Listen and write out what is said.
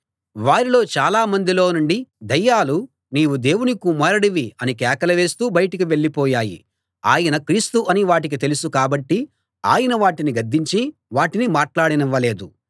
వారిలో చాలామందిలో నుండి దయ్యాలు నీవు దేవుని కుమారుడివి అని కేకలు వేస్తూ బయటికి వెళ్ళిపోయాయి ఆయన క్రీస్తు అని వాటికి తెలుసు కాబట్టి ఆయన వాటిని గద్దించి వాటిని మాట్లాడనివ్వలేదు